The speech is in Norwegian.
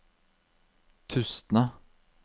Tustna